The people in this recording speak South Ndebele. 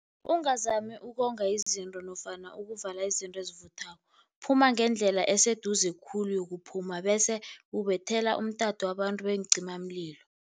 Ungazami ukonga izinto nofana ukuvala izinto ezivuthako, phuma ngendlela eseduze khulu yokuphuma. Bese ubethela umtato abantu beencimamlilo.